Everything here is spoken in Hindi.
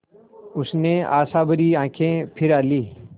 उसने आशाभरी आँखें फिरा लीं